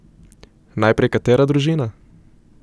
Najprej katera družina?